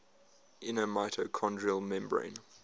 inner mitochondrial membrane